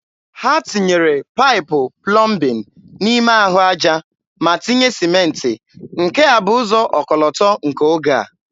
Ha tinyere paịpụ plọmbin n'ime ahụ aja ma tinye sịmentị, nke a bụ ụzọ ọkọlọtọ nke oge a.